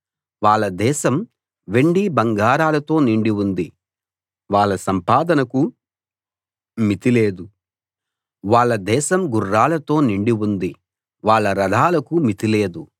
వాళ్ళ దేశం వెండి బంగారాలతో నిండి ఉంది వాళ్ళ సంపాదనకు మితి లేదు వాళ్ళ దేశం గుర్రాలతో నిండి ఉంది వాళ్ళ రథాలకు మితి లేదు